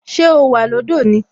Ṣé o wà lọ́dọ̀ ni?